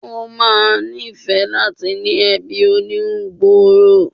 Ó ma níìfẹ́ láti ní ẹbí oníhun gbòòrò